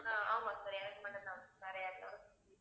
ஆஹ் ஆமா sir எனக்கு மட்டும் தான் வேற யாருக்கும் இல்லை